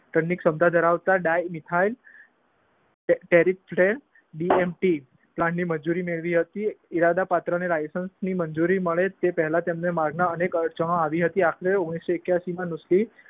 શબ્દ ધરાવતા ડાયલનીફાઈલ પ્લાનની મજૂરી મેળવી હતી ઈરાદા પાત્રને લાયસન્સની મંજૂરી મળે તે પેહલા તેમના માર્ગના અનેક રચનો આવી હતી. આખરે ઓગણીસો એક્યાસીમાં નુસ્લી